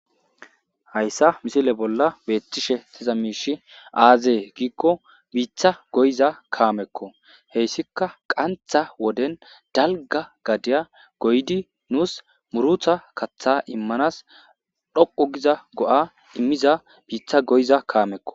Hayisa misile bolla betishe diza mishi aze giko bitha goyida kameko hesika qantha woden dalga gadiya goyidi nusi murutha katha imanasi dhoqu giza go, a imiza bitha goyiza kameko